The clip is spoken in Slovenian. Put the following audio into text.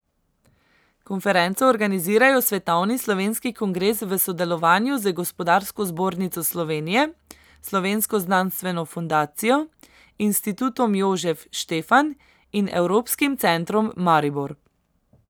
Konferenco organizirajo Svetovni slovenski kongres v sodelovanju z Gospodarsko zbornico Slovenije, Slovensko znanstveno fundacijo, Institutom Jožef Štefan in Evropskim centrom Maribor.